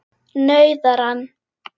nauðar hann.